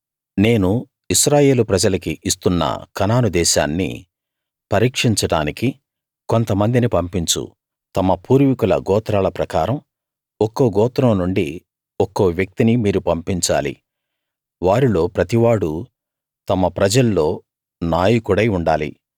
నేను ఇశ్రాయేలు ప్రజలకి ఇస్తున్న కనాను దేశాన్ని పరీక్షించడానికి కొంతమందిని పంపించు తమ పూర్వీకుల గోత్రాల ప్రకారం ఒక్కో గోత్రం నుండి ఒక్కో వ్యక్తిని మీరు పంపించాలి వారిల్లో ప్రతి వాడూ తమ ప్రజల్లో నాయకుడై ఉండాలి